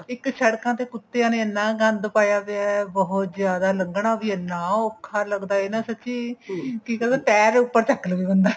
ਇੱਕ ਸ਼ੜਕਾਂ ਤੇ ਕੁੱਤਿਆਂ ਨੇ ਇੰਨਾ ਗੰਦ ਪਾਇਆ ਪਿਆ ਬਹੁਤ ਜਿਆਦਾ ਲੰਘਣਾ ਵੀ ਇੰਨਾ ਔਖਾ ਲੱਗਦਾ ਹੈ ਨਾ ਸੱਚੀ ਜੀ ਕਰਦਾ ਪੈਰ ਹੀ ਉੱਪਰ ਚੱਕ ਲਵੇ ਬੰਦਾ